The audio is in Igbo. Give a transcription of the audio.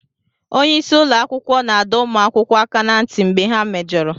Onye isi ụlọ akwụkwọ na-adọ ụmụ akwụkwọ aka ná ntị mgbe ha mejọrọ